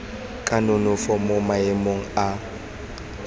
ka nonofo mo maemong a